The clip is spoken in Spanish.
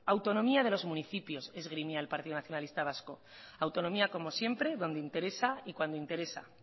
autonomía de los municipios esgrimía el partido nacionalista vasco autonomía como siempre donde interesa y cuando interesa